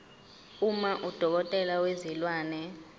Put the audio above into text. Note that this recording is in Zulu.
uma udokotela wezilwane